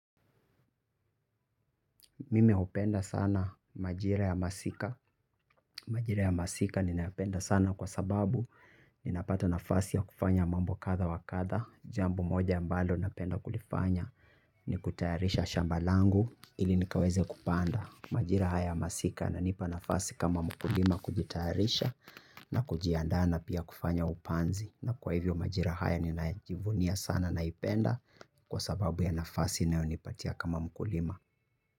Mimi hupenda sana majira ya masika. Majira ya masika ni napenda sana kwa sababu ni napata nafasi ya kufanya mambo kadha wakadha. Jambo moja ambalo napenda kulifanya ni kutayarisha shamba langu ili nikaweze kupanda. Majira haya ya masika yananipa nafasi kama mkulima kujitayarisha na kujiandaa pia kufanya upanzi. Na kwa hivyo majira haya ni najivunia sana naipenda kwasababu ya nafasi inayonipatia kama mkulima.